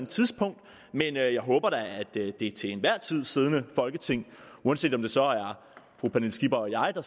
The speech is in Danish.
tidspunkt men jeg håber da at det til enhver tid siddende folketing uanset om det så er fru pernille skipper og jeg der